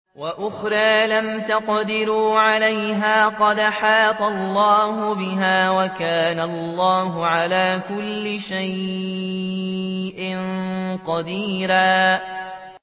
وَأُخْرَىٰ لَمْ تَقْدِرُوا عَلَيْهَا قَدْ أَحَاطَ اللَّهُ بِهَا ۚ وَكَانَ اللَّهُ عَلَىٰ كُلِّ شَيْءٍ قَدِيرًا